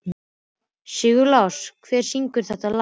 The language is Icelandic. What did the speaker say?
Sigurlás, hver syngur þetta lag?